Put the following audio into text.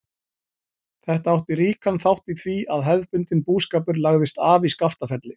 Þetta átti ríkan þátt í því að hefðbundinn búskapur lagðist af í Skaftafelli.